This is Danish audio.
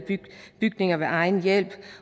bygninger ved egen hjælp